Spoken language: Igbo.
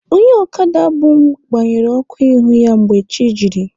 Onye ọkada bu mụ gbanyere ọkụ ihu ya mgbe chi jiri.